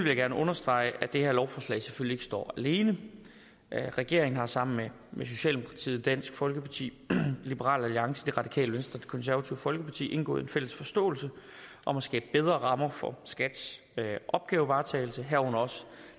jeg gerne understrege at det her lovforslag selvfølgelig ikke står alene regeringen har sammen med socialdemokratiet dansk folkeparti liberal alliance radikale venstre og konservative folkeparti indgået en fælles forståelse om at skabe bedre rammer for skats opgavevaretagelse herunder